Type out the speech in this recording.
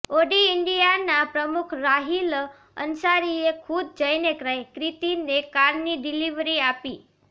Audi ઇન્ડિયાના પ્રમુખ રાહિલ અંસારીએ ખુદ જઇને ક્રિતિને કારની ડિલીવરી આપી